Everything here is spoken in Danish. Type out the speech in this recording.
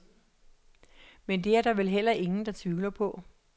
Men det er der vel heller ingen, der tvivler på.